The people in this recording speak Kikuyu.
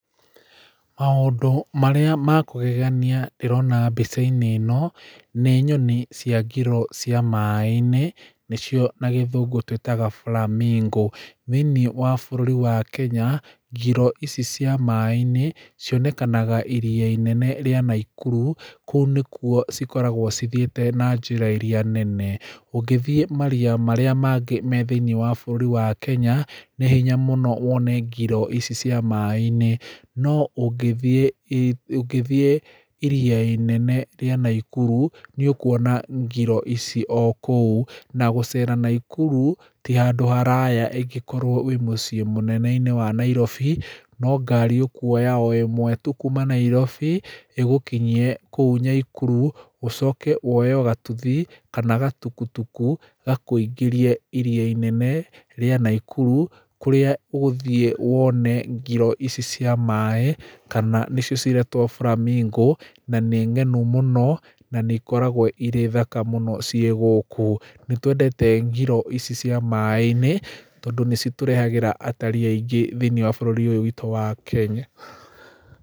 Maũndũ marĩa makũgegania ndĩrona mbica-inĩ ĩno, nĩ nyoni cia ngiro cia maaĩ-inĩ, nĩcio na gĩthũngũ tũĩtaga flamingo. Thĩiniĩ wa bũrũri wa Kenya, ngiro ici cia maaĩ-inĩ, cionekanaga iria inene rĩa Nakuru. Kũu nĩkuo cikoragwo cithiĩte na njĩra irĩa nene. Ũngĩthiĩ maria marĩa mangĩ me thĩiniĩ wa bũrũri wa Kenya, nĩ hinya mũno wone ngiro ici cia maaĩ-inĩ. No ũngĩthiĩ ũngĩthiĩ iria inene rĩa Nakuru, nĩ ũkuona ngiro ici o kũu. Na gũcera Nakuru, ti handũ haraya angĩkorwo wĩ mũciĩ mũnene-inĩ wa Nairobi. No ngari ũkuoya o ĩmwe tu kuuma Nairobi, ĩgũkinyie kũu Nakuru, ũcoke woye o gatuthi, kana gatukutuku, gakũingĩrie iria inene rĩa Nakuru, kũrĩa ũgũthiĩ wone ngiro ici cia maaĩ, kana nĩcio ciretwo flamingo, na nĩ ng'enu mũno, na nĩ ikoragwo irĩ thaka mũno ciĩ gũkũ. Nĩ twendete ngiro ici cia maaĩ-inĩ, tondũ nĩ citũrehagĩra atarii aingĩ thĩiniĩ wa bũrũri ũyũ witũ wa Kenya.